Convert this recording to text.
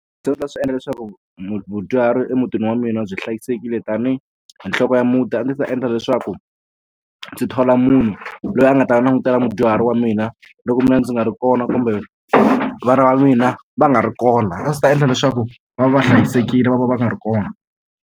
ta swi endla leswaku mudyuhari emutini wa mina byi hlayisekile tanihi nhloko ya muti a ndzi ta endla leswaku ndzi thola munhu loyi a nga ta langutela mudyuhari wa mina loko mina ndzi nga ri kona kumbe vana va mina va nga ri kona a ndzi ta endla leswaku va va va hlayisekile loko va nga ri kona.